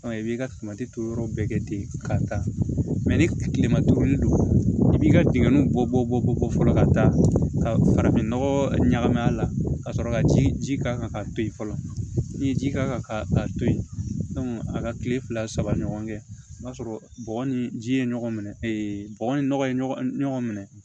i b'i ka to yɔrɔ bɛɛ kɛ ten ka taa ni kilema duuru don i b'i ka dingɛ bɔ bɔ ko fɔlɔ ka taa ka farafinnɔgɔ ɲagamin a la ka sɔrɔ ka ji k'a kan ka to yen fɔlɔ ni ye ji k'a kan ka to yen a ka tile fila saba ɲɔgɔn kɛ i b'a sɔrɔ bɔgɔ ni ji ye ɲɔgɔn minɛ bɔgɔ ni nɔgɔ ye ɲɔgɔn minɛ